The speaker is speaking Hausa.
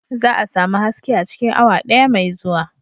Za a sami haske a cikin awa daya mai zuwa.